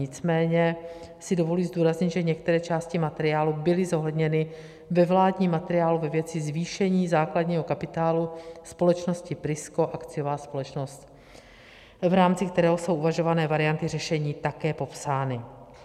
Nicméně si dovoluji zdůraznit, že některé části materiálu byly zohledněny ve vládním materiálu ve věci zvýšení základního kapitálu společnosti Prisko, akciová společnost, v rámci kterého jsou uvažované varianty řešení také popsány.